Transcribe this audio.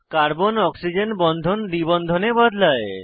carbon oxygen বন্ধন দ্বি বন্ধনে বদলায়